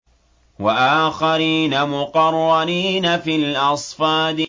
وَآخَرِينَ مُقَرَّنِينَ فِي الْأَصْفَادِ